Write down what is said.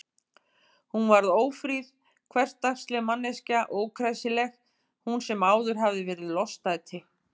Hún varð ófríð, hversdagsleg manneskja, ókræsileg, hún sem áður hafði verið lostæti.